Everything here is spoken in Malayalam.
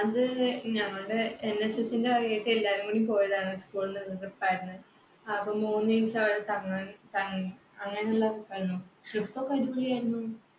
അത് ഞങ്ങളുടെ NSS ന്റെ വകയായിട്ട് എല്ലാരും കൂടി പോയതാണ് school ന്ന് അപ്പൊ മൂന്ന് ദിവസം അവിടെ തങ്ങാൻ തങ്ങി. അങ്ങനെയുള്ള trip ആയിരുന്നു. trip ഒക്കെ അടിപൊളിയായിരുന്നു.